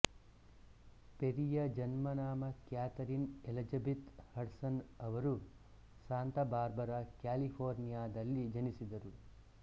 ಪೆರಿಯ ಜನ್ಮನಾಮ Katherine Elizabeth Hudson ಅವರು Santa Barbara California ದಲ್ಲಿ ಜನಿಸಿದರು